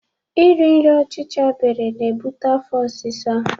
E ri nri ọchicha bere na ebute afọ osisa